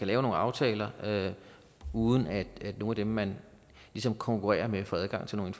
lave nogle aftaler uden at nogen af dem man ligesom konkurrerer med får adgang til nogen